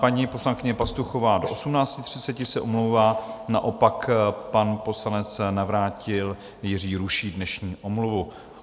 Paní poslankyně Pastuchová do 18.30 se omlouvá, naopak pan poslanec Navrátil Jiří ruší dnešní omluvu.